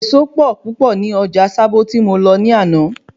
Ẹ̀ẹ̀so pọ̀ púpọ̀ ní Ọjà Sábó tí mo lọ ní àná